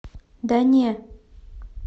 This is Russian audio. да не